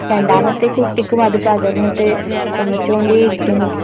രണ്ടാമത്തെ കുട്ടിക്കും അത് പകർന്നിട്ട് ചുമച്ച് കൊണ്ടേ ഇരിക്കുന്നു